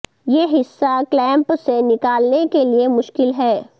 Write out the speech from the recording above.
یہ حصہ کلیمپ سے نکالنے کے لئے مشکل ہے